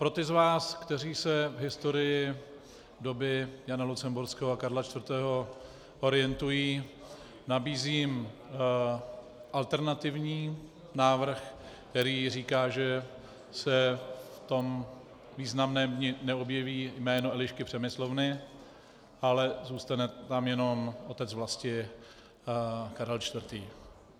Pro ty z vás, kteří se v historii doby Jana Lucemburského a Karla IV. orientují, nabízím alternativní návrh, který říká, že se v tom významném dni neobjeví jméno Elišky Přemyslovny, ale zůstane tam jen Otec vlasti Karel IV.